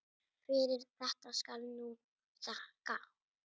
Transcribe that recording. Fyrir þetta skal nú þakkað.